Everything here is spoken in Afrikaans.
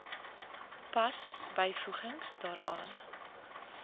pas byvoegings daaraan